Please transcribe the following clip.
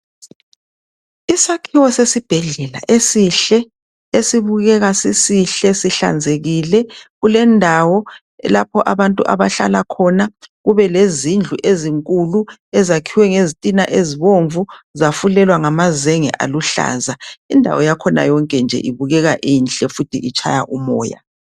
Isakhiwo sesibhedlela esihle esibukeka sisihle sihlanzekile kulendawo lapho abantu abahlala khona kube lezindlu ezinkulu ezakhiwe ngezitina ezibomvu zafulelwa ngamazenge aluhlaza indawo yakhona yonke nje ibukeka inhle njalo itshaya umoya.